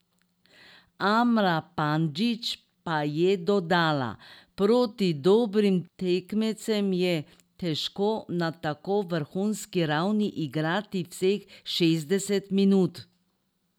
Amra Pandžić pa je dodala: "Proti dobrim tekmecem je težko na tako vrhunski ravni igrati vseh šestdeset minut.